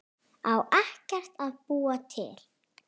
Á ekkert að búa til?